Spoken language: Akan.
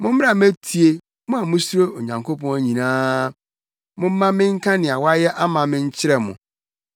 Mommra mmetie, mo a musuro Onyankopɔn nyinaa; momma menka nea wayɛ ama me nkyerɛ mo.